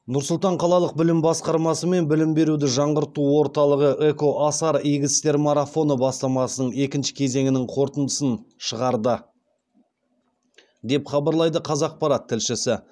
нұр сұлтан қалалық білім басқармасы мен білім беруді жаңғырту орталығы экоасар игі істер марафоны бастамасының екінші кезеңінің қорытындысын шығарды деп хабарлайды қазақпарат тілшісі